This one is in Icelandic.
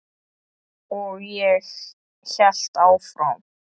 Og ég hélt áfram.